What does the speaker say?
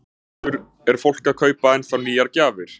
Höskuldur: Er fólk að kaupa ennþá nýjar gjafir?